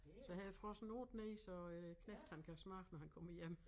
Så har jeg frosset nogle ned så æ knægt han kan smage når han kommer hjem